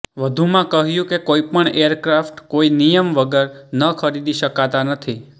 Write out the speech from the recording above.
વધુમાં કહ્યું કે કોઈ પણ એરક્રાફ્ટ કોઈ નિયમ વગર ન ખરીદી શકાતા નથી